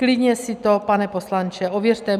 Klidně si to, pane poslanče, ověřte.